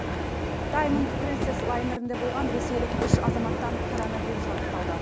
даймонд принцесс лайнерінде болған ресейлік үш азаматтан коронавирус анықталды